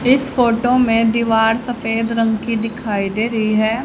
इस फोटो में दीवार सफेद रंग की दिखाई दे रही है।